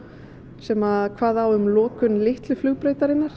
sem kvað á um lokun litlu flugbrautarinnar